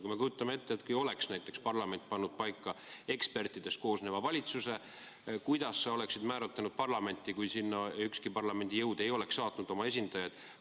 Kui me kujutame ette, et parlament oleks pannud paika ekspertidest koosneva valitsuse, siis kuidas sa oleksid määratlenud parlamenti, kui ükski parlamendi jõud ei oleks saatnud oma esindajaid?